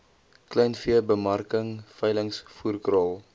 kleinveebemarking veilings voerkraal